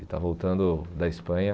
Está voltando da Espanha.